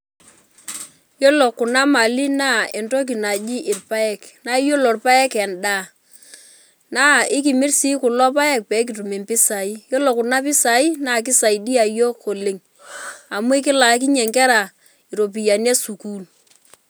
Yiolo kuna mali na entoki naji irpaek ,na iyiolo irpaek endaa na ikimr si kulo paek pekitum mpisai, yiolo kunapisai nakisaidia yiok oleng amu kelaakinye nkera ropiyani esukul.